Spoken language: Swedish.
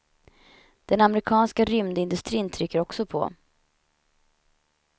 Den amerikanska rymdindustrin trycker också på.